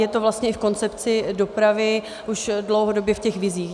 Je to vlastně i v koncepci dopravy už dlouhodobě, v těch vizích.